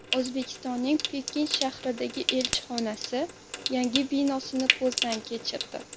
O‘zbekistonning Pekin shahridagi elchixonasi yangi binosini ko‘zdan kechirdi .